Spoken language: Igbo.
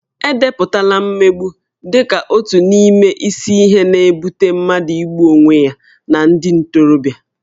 E depụtala mmegbu dị ka otu n'ime isi ihe na-ebute mmadụ igbu onwe ya na ndị ntorobịa